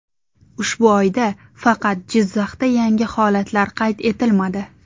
Ushbu oyda faqat Jizzaxda yangi holatlar qayd etilmadi.